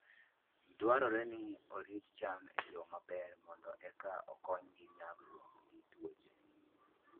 Dwarore ni orit cham e yo maber mondo eka okonygi nyagruok gi tuoche.